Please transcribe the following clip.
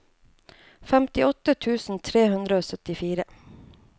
femtiåtte tusen tre hundre og syttifire